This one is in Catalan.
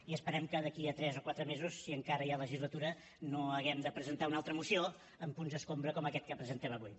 i esperem que d’aquí a tres o quatre mesos si encara hi ha legislatura no hàgim de presentar una altra moció amb punts escombra com aquest que presentem avui